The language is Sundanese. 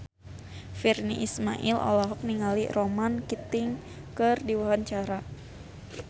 Virnie Ismail olohok ningali Ronan Keating keur diwawancara